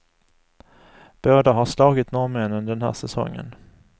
Båda har slagit norrmännen den här säsongen.